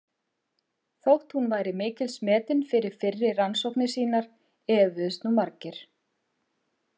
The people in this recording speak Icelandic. Þótt hún væri mikils metin fyrir fyrri rannsóknir sínar efuðust nú margir.